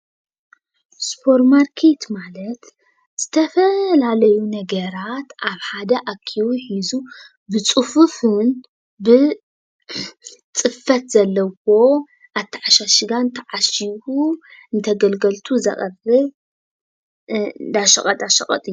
ስፖርማርኬት ማለት ዝተፈላለዩ ነገራት ኣብ ሓደ ኣኪቡ ሒዙ ብፅፉፉን ብፅፈት ዘለዎን ኣተዓሻሽጋን ተዓሽጉ ንተገልገልቱ ዘቅብል እንዳሸቀጣሸቀጥ እዩ፡፡